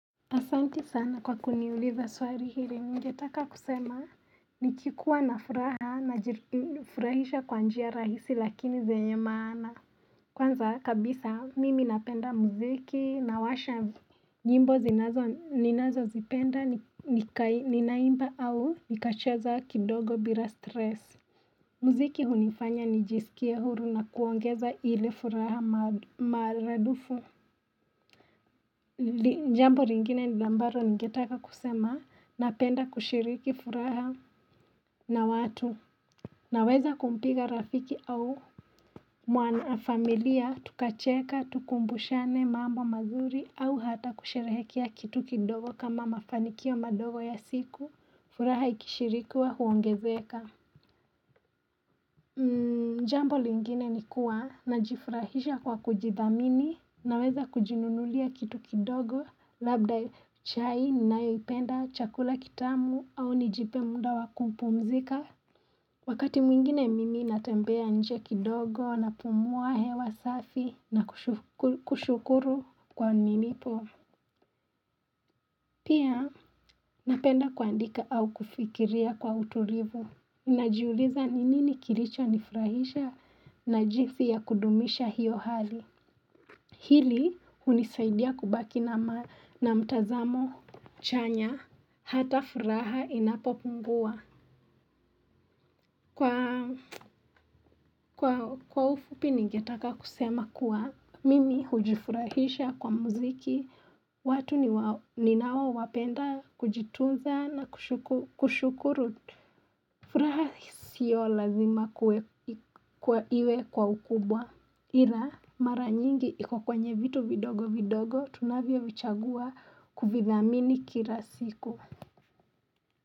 Asanti sana kwa kuniuliza swali ile ningetaka kusema nikikuwa na furaha najifurahisha kwa njia rahisi lakini zenye maana. Kwanza kabisa mimi napenda muziki nawasha. Nyimbo zinazo, ninazozipenda ninaimba au nikacheza kidogo bila stress. Muziki hunifanya nijisikie huru na kuongeza ile furaha maradufu. Jambo lingine ambalo ningetaka kusema napenda kushiriki furaha na watu Naweza kumpiga rafiki au mwanafamilia tukacheka tukumbushane mambo mazuri au hata kusherehekea kitu kidogo kama mafanikio madogo ya siku, furaha ikishirikiwa huongezeka Jambo lingine ni kuwa najifurahisha kwa kujidhamini naweza kujinunulia kitu kidogo labda chai ninayoipenda, chakula kitamu au nijipe muda wa kumpumzika. Wakati mwingine mimi natembea nje kidogo napumua hewa safi na kushukuru kwa nilipo. Pia napenda kuandika au kufikiria kwa utulivu. Najiuliza ni nini kilichonifurahisha? Na jinsi ya kudumisha hiyo hali. Hili hunisaidia kubaki na mtazamo chanya. Hata furaha inapopungua. Kwa ufupi ningetaka kusema kuwa mimi hujifurahisha kwa muziki. Watu ninaowapenda kujitunza na kushukuru. Furaha sio lazima kuwe, kuwa iwe kwa ukubwa Ila mara nyingi iko kwenye vitu vidogo vidogo tunavyovichagua kuvidhamini kila siku.